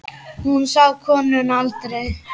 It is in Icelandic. Hún sá konuna aldrei.